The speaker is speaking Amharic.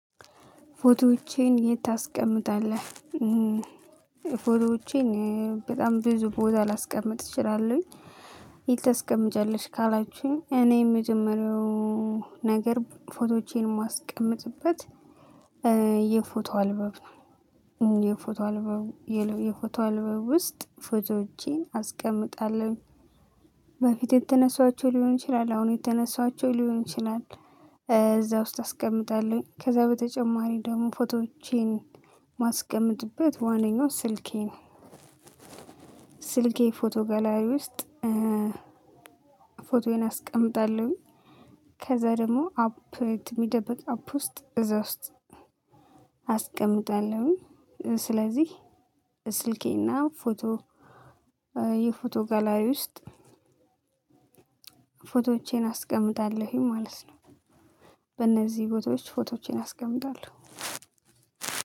ፎቶዎቼን የት ታስቀምጣለህ? እም ፎቶዎቼን በጣም ብዙ ቦታ ላስቀምጥ እችላለሁኝ። የት ታስቀምጫለሽ? ካላችሁኝ እኔ የመጀመሪያው ነገር ፎቶዎቼን ማስቀምጥበት እ የፎቶ አልበብ የፎቶ አልበብ የፎቶ አልባው ውስጥ ፎቶዎችን አስቀምጣለሁኝ። በፊት የተነሷቸው ሊሆን ይችላል አሁን የተነሷቸው ሊሆን ይችላል እ እዛ ውስጥ አስቀምጣለሁኝ። ከዛ በተጨማሪ ደግሞ ፎቶዎቼን ማስቀመጥበት ዋንኛው ስልኬ ነው። ስልኬ ፎቶ ጋላሪ ውስጥ እ ፎቶዬን አስቀምጣለሁኝ። ከዛ ደግሞ አፕ ት ሚደብቅ አፕ ውስጥ እዛ ውስጥ አስቀምጣለሁ። ስለዚህ ስልኬና ፎቶ እ የፎቶ ጋላሪ ውስጥ ፎቶዎቼን አስቀምጣለሁኝ ማለት ነው። በእነዚህ ቦታዎች ፎቶዎች ፎቶዎቼን አስቀምጣለሁ።